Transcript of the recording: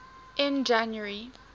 in january